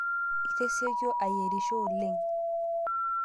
Itesioka ayerisho oleng'